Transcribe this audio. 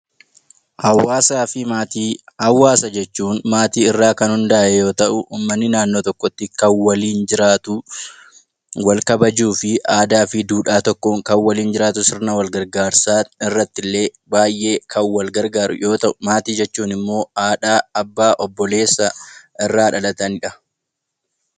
Hawaasaa fi maatii Hawaasa jechuun maatii irraa kan hundaa'e yoo ta'u, uummanni naannoo tokkotti kan waliin jiraatu wal kabajuu fi aadaa, duudhaa tokkoon kan waliin jiraatu sirna wal gargaarsaa irratti illee baayyee kan wal gargaaru yoo ta'u, maatii jechuun immoo haadha, abbaa, obboleessa irraa dhalatanidha.